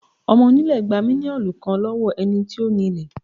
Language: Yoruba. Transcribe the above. Ọmọ onílé gba mílíọ̀nù kan lọ́wọ́ ẹni tó ní lé